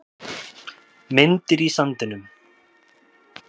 Myndir í sandinum